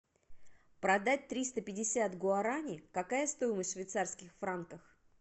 продать триста пятьдесят гуарани какая стоимость в швейцарских франках